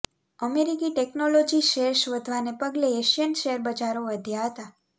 અમેરિકી technology shares વધવાને પગલે એશિયન શેરબજારો વધ્યા હતા